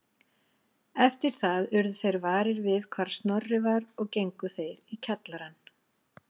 Eftir það urðu þeir varir við hvar Snorri var og gengu þeir í kjallarann